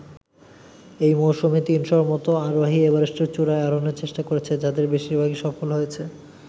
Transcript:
এই মওসুমে তিনশোর মতো আরোহী এভারেস্টের চূড়ায় আরোহণের চেষ্টা করেছে, যাদের বেশিরভাগই সফল হয়েছে।